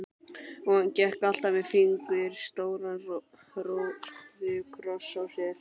Og hann gekk alltaf með fingur stóran róðukross á sér.